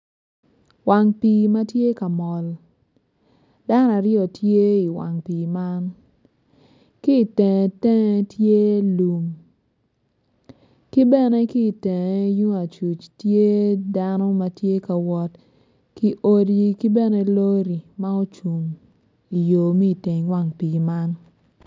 Wang pii ma tye ka mol dano aryo tye iwang pii man ki itenge tenge tye lum ki bene ki itenge tung acuc tye dano ma tye ka wot ki odi ki bene lori ma ocung iyo ma iteng wang pii man.